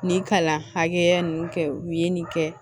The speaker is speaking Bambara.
Nin kalan hakɛya ninnu kɛ u ye nin kɛ